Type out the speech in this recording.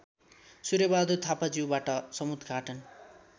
सूर्यबहादुर थापाज्यूबाट समुद्घाटन